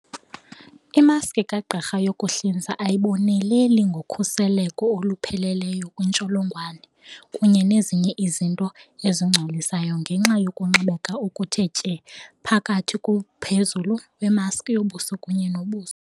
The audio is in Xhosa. Imaski kagqirha yokuhlinza ayiboneleli ngokhuseleko olupheleleyo kwiintsholongwane kunye nezinye izinto ezingcolisayo ngenxa yokunxibeka okuthe tye phakathi komphezulu wemaski yobuso kunye nobuso.